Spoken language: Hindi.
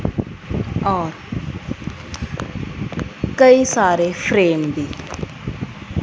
और कई सारे फ्रेम भी--